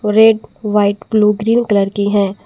और एक white blue green colour की है।